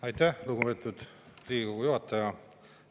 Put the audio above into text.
Aitäh, lugupeetud Riigikogu!